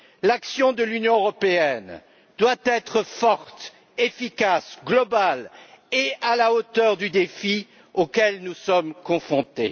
L'action de l'Union européenne doit être forte, efficace, globale et à la hauteur du défi auquel nous sommes confrontés.